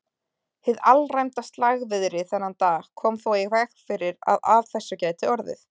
Hið alræmda slagviðri þennan dag kom þó í veg fyrir að af þessu gæti orðið.